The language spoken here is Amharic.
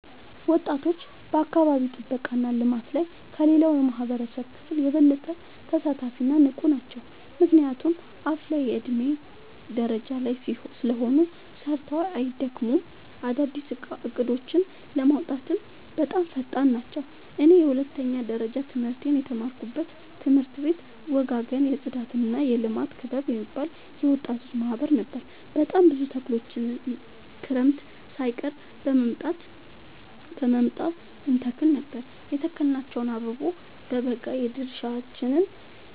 ወጣቶች በአካባቢ ጥብቃ እና ልማት ላይ ከሌላው የማህበረሰብ ክፍል የበለጠ ተሳታፊ እና ንቁ ናቸው። ምክንያቱም አፋላ የዕድሜ ደረጃ ላይ ስለሆኑ ሰርተው አይደክሙም፤ አዳዲስ እቅዶችን ለማውጣትም በጣም ፈጣን ናቸው። እኔ የሁለተኛ ደረጃ ትምህርቴን የተማርኩበት ትምህርት ቤት ወጋገን የፅዳትና የልማት ክበብ የሚባል የወጣቶች ማህበር ነበር። በጣም ብዙ ተክሎችን ክረምት ሳይቀር በመምጣ እንተክል ነበር የተከልናቸው አበቦ በበጋ የድርሻችን